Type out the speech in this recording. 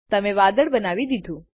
તમે વાદળ બનાવી દીધું